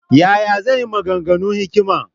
Ya ya zan yi maganganun hikima?